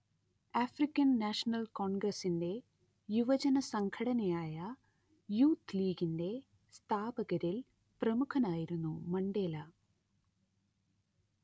African National കോൺഗ്രസ്സിന്റെ യുവജനസംഘടനയായ Youth ലീഗിന്റെ സ്ഥാപകരിൽ പ്രമുഖനായിരുന്നു മണ്ടേല